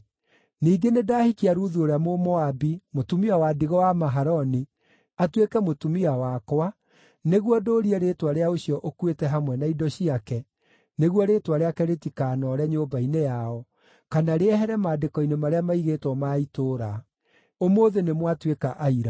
Ningĩ nĩndahikia Ruthu ũrĩa Mũmoabi, mũtumia wa ndigwa wa Mahaloni, atuĩke mũtumia wakwa, nĩguo ndũũrie rĩĩtwa rĩa ũcio ũkuĩte hamwe na indo ciake, nĩguo rĩĩtwa rĩake rĩtikaanoore nyũmba-inĩ yao, kana rĩehere maandĩko-inĩ marĩa maigĩtwo ma itũũra. Ũmũthĩ nĩmwatuĩka aira!”